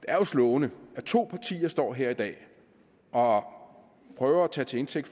er slående at to partier står her i dag og prøver at tage til indtægt